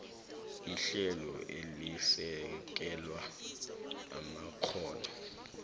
ihlelo elisekela amakghono